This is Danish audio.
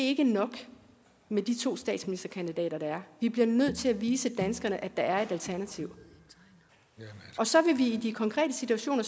ikke nok med de to statsministerkandidater der er vi bliver nødt til at vise danskerne at der er et alternativ og så vil vi i de konkrete situationer